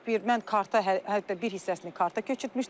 mən karta hətta bir hissəsini karta köçürtmüşdüm.